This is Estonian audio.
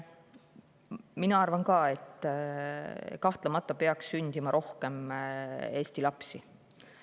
Mina arvan ka, et kahtlemata peaks sündima rohkem Eesti lapsi.